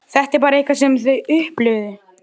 Þú verður að ná í þá þar.